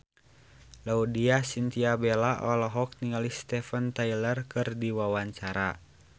Laudya Chintya Bella olohok ningali Steven Tyler keur diwawancara